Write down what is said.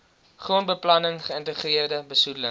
grondbeplanning geïntegreerde besoedeling